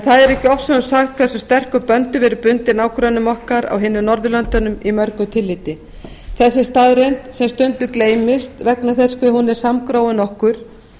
það er ekki ofsögum sagt hversu sterkum böndum við erum bundin nágrönnum okkar á hinum norðurlöndunum í mörgu tilliti þessi staðreynd sem stundum gleymist vegna þess hve hún er samgróin okkur